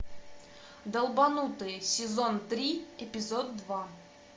долбанутые сезон три эпизод два